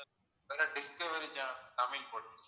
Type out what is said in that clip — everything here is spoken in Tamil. பிறகு டிஸ்கவரி channel தமிழ் போட்டுருங்க சார்